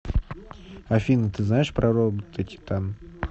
афина ты знаешь про робота титан